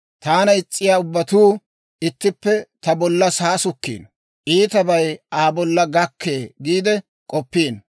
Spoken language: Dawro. Taana is's'iyaa ubbatuu ittippe ta bollan saasukkiino; «Iitabay Aa bolla gakkee» giide k'oppiino.